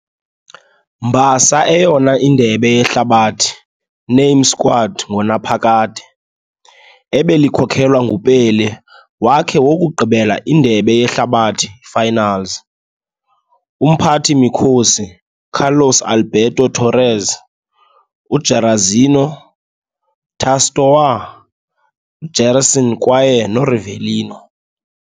mbasa eyona Indebe Yehlabathi name squad ngonaphakade, ebelikhokelwa nguPelé wakhe wokugqibela Indebe Yehlabathi finals, umphathi-mikhosi Carlos Alberto Torres, Jairzinho, Tostão, Gérson kwaye Rivelino.